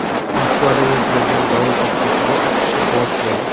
Moskavda yuz bergan dovul oqibatida uch kishi halok bo‘ldi.